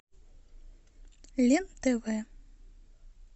лен тв